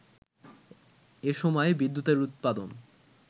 এসময়ে বিদ্যুতের উৎপাদন